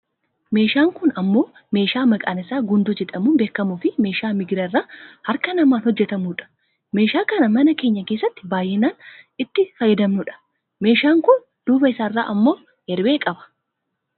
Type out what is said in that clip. meeshaan kun ammoo meeshaa maqaan isaa gundoo jedhamuun beekamuufi meeshaa migira irraa harka namaan hojjatamu dha. meeshaa kana mana keenya keessatti baayyinaan an itti fayyadamnudha. meeshaan kun duuba isaarraa ammoo erbee qaba.